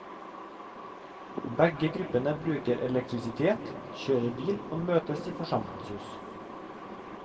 Begge gruppene bruker elektrisitet, kjører bil og møtes i forsamlingshus.